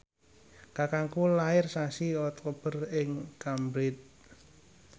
kakangku lair sasi Oktober ing Cambridge